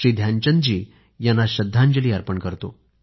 ध्यानचंद जी यांना श्रद्धांजली अर्पण करतो